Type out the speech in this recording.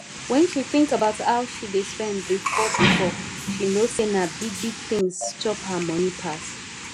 when she think about how she dey spend before before she know say na big big things chop her money pass